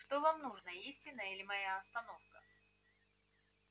что вам нужно истина или моя остановка